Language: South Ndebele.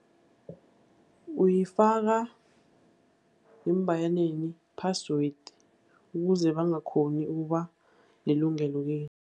Uyifaka ngeembayaneni password ukuze bangakghoni ukuba nelungelo-ke.